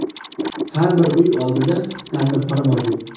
Har bir uy oldida tandirxona mavjud.